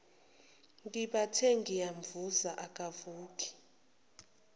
ngibathe ngiyamvusa akavuki